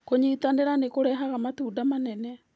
Kũnyitanĩra nĩ kũrehaga matunda manene.